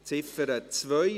Ziffer 2: